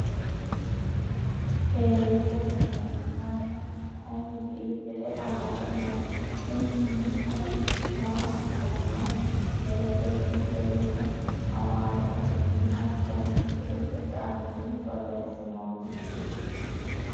Teelete mineeti ? Mannu konbiitere amade no . Kuni ma no maa assanno no ? Teele birre yine amaaru afiinni hattono ingilizete afiinni borreessinoonni.